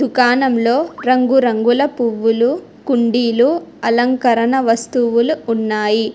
దుకాణంలో రంగురంగుల పువ్వులు కుండీలు అలంకరణ వస్తువులు ఉన్నాయి.